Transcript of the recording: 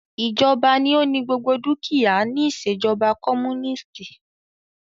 Ìjọba ní o ní gbogbo dúkìá ní ìṣèjọba comúnìstì.